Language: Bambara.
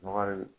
Nɔgɔ de